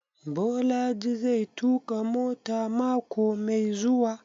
Bolaji zai tuƙa mota mako mai zuwa?